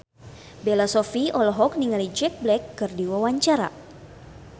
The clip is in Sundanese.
Bella Shofie olohok ningali Jack Black keur diwawancara